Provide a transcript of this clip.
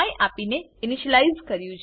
આપની ને ઈનીશ્યલાઈઝ કર્યું છે